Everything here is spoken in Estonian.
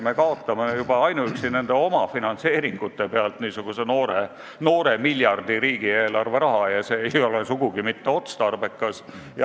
Me kaotame juba ainuüksi nende omafinantseeringute pealt poole miljardi ringis riigieelarve raha ja see ei ole sugugi mitte otstarbekas.